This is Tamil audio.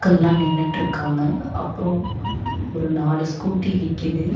எல்லா நின்னுட்ருக்காங்க அப்றோ ஒரு நாலு ஸ்கூட்டி நிக்கிது.